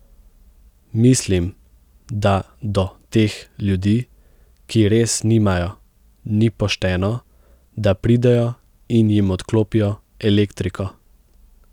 Mislim, da do teh ljudi, ki res nimajo, ni pošteno, da pridejo in jim odklopijo elektriko.